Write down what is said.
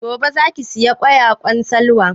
Gobe za ki saya ƙwayaƙwan Salwa?